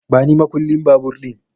Bani makullin babur ɗin